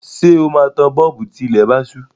Ṣé o máa tan bọ́ọ̀bù tí ilẹ̀ bá ṣú?